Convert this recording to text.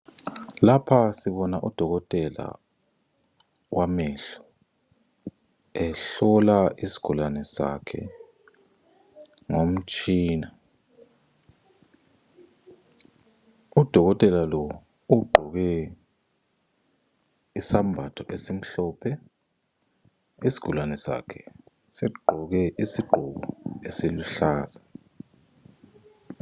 Lapha sibona udokotela wamehlo, ehlola isigulane sakhe ngomtshina. Udokotela lo ugqoke isembatho esimhlophe. Isigulane sakhe sigqoke isigqoko esiluhlaza.